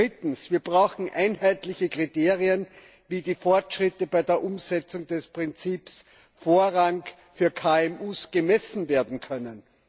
Drittens Wir brauchen einheitliche Kriterien, wie die Fortschritte bei der Umsetzung des Prinzips Vorrang für KMU gemessen werden können.